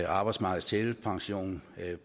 arbejdsmarkedets tillægspension